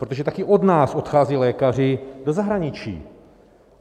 Protože také od nás odcházejí lékaři do zahraničí.